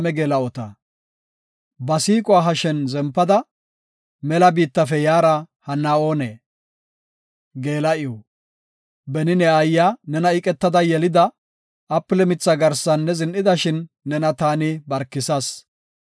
Ba siiquwa hashen zempada, mela biittafe yaara hanna oonee? Geela7iw Beni ne aayiya nena iqetada yelida, apile mithaa garsan ne zin7idashin, nena ta barkisas.